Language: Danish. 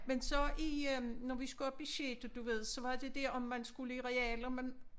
Men så i øh når vi skulle op i sjette du ved så var det det om man skulle i real om man